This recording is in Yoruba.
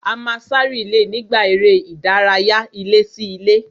A máa sá rìílè nígbà eré ìdárayá ilé-sí-ilé